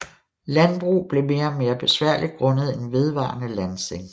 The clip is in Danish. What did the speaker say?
Landbrug blev mere og mere besværligt grundet en vedvarende landsænkning